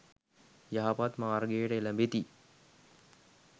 යහපත් මාර්ගයට එළැඹෙති.